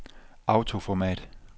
autoformat